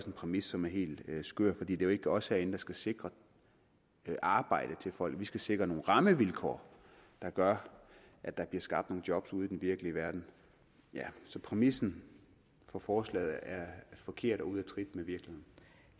en præmis som er helt skør for det er jo ikke os herinde der skal sikre arbejde til folk vi skal sikre nogle rammevilkår der gør at der bliver skabt nogle job ude i den virkelige verden så præmissen for forslaget er forkert og ude